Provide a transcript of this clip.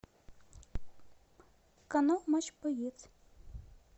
канал матч боец